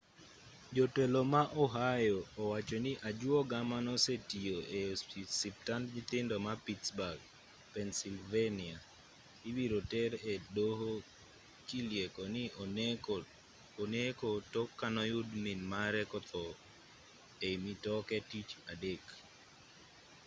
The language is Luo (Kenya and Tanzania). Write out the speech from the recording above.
jotelo ma ohio wacho ni ajuoga manosetiyo e ospitand nyithindo ma pittsburgh pennsylvania ibiro ter e doho kilieko ni oneko tok kanoyud minmare kotho ei mitoke tich adek